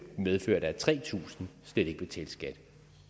medførte at tre tusind slet ikke betalte skat